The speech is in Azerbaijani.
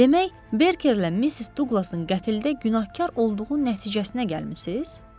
Demək, Berkerlə Missis Duqlasın qətldə günahkar olduğu nəticəsinə gəlmisiniz?